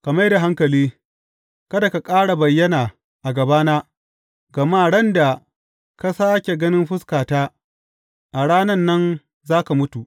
Ka mai da hankali, kada ka ƙara bayyana a gabana, gama ran da ka sāke ganin fuskata, a ran nan za ka mutu.